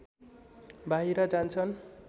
बाहिर जान्छन्